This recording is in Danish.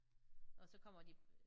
Og så kommer de